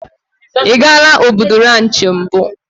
Ị gaala Obudu ranchị mbụ?